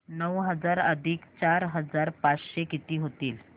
नऊ हजार अधिक चार हजार पाचशे किती होतील